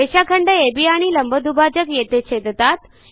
रेषाखंड अब आणि लंबदुभाजक येथे छेदतात